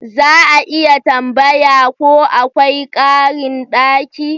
Za a iya tambaya ko akwai karin daki?